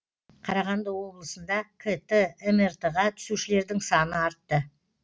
қарағанды облысында кт мрт ға түсушілердің саны артты